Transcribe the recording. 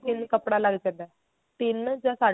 ਕੱਪੜਾ ਲੱਗ ਜਾਂਦਾ ਤਿੰਨ ਜਾਂ ਸਾਢ਼ੇ